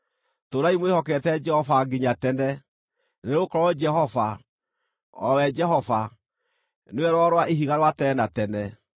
Tũũrai mwĩhokete Jehova nginya tene, nĩgũkorwo Jehova, o we Jehova, nĩwe Rwaro rwa Ihiga rwa tene na tene.